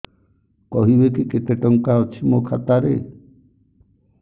କହିବେକି କେତେ ଟଙ୍କା ଅଛି ମୋ ଖାତା ରେ